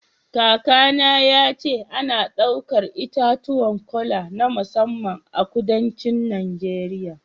Kakana ya ce ana ɗaukar itatuwan kola na musamman a kudancin Najeriya